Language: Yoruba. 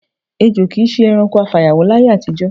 Èjo kì í s̩e e̩ranko afàyàwó láyé àtijó̩.